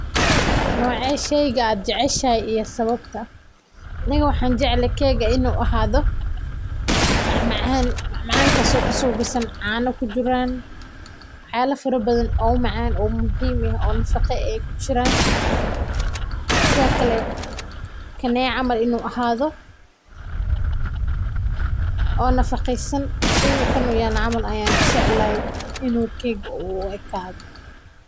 Noce sheyga aa jeceshahay iyo sawabta amiga waxan jeclahay kega in u ahad mid macan sithokale kan oo kale ahado oo nafaqesan sitha kan camal in u ahadho ayan jeclahay.